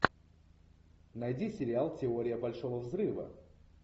найди сериал теория большого взрыва